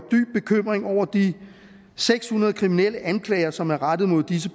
en over de seks hundrede kriminalanklager som er rettet mod disse